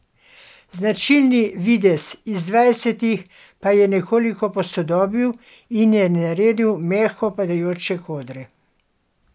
Značilni videz iz dvajsetih pa je nekoliko posodobil in ji naredil mehko padajoče kodre.